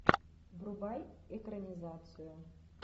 врубай экранизацию